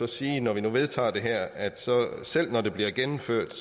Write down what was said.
sige når vi nu vedtager det her at selv når det bliver gennemført